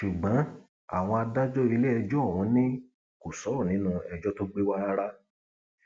ṣùgbọn àwọn adájọ iléẹjọ ọhún ni kò sọrọ nínú ẹjọ tó gbé wa rárá